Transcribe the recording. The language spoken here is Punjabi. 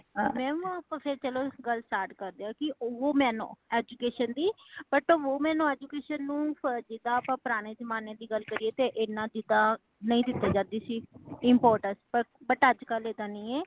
mam ਆਪਾ ਚਲੋ ਗੱਲ start ਕਰਦੇ ਹਾਂ। ਕੀ woman education ਦੀ but woman ਨੂੰ education ਨੂੰ ਜਿੰਦਾ ਆਪਾ ਪੁਰਾਨੇ ਜ਼ਮਾਨੇ ਦੀ ਗੱਲ ਕਰੀਏ ,ਏਨਾ ਦੀ ਤਾ ਨਹੀਂ ਦਿੱਤੀ ਜਾਂਦੀ ਸੀ important but ਅੱਜ ਕੱਲ ਏਦਾਂ ਨਹੀਂ ਹੇ